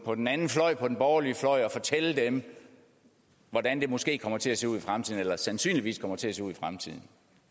på den anden fløj den borgerlige fløj og fortælle dem hvordan det måske kommer til at se ud i fremtiden eller sandsynligvis kommer til at se ud i fremtiden